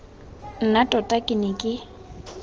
nna tota ke ne ke